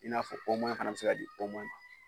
I n'a fɔ fana bɛ se ka di ma